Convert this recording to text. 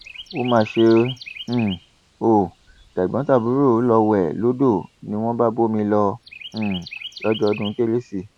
ó mà ṣe um ò tẹgbọntàbúrò lọọ wé lódò ni wọn bá bómi lọ um lọ́jọ́ ọdún kérésì